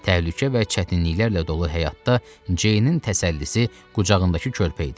Təhlükə və çətinliklərlə dolu həyatda Ceynin təsəllisi qucağındakı körpə idi.